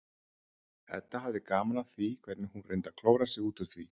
Edda hafði gaman af því hvernig hún reyndi að klóra sig út úr því.